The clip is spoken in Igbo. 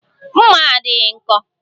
Mma a adịghị nkọ